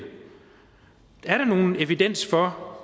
er der nogen evidens for